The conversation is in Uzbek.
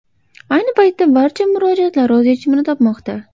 Ayni paytda barcha murojaatlar o‘z yechimini topmoqda.